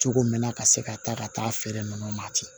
Cogo min na ka se ka taa ka taa feere ninnu ma ten